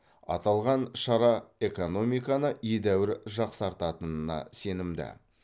аталған шара экономиканы едәуір жақсартатынына сенімді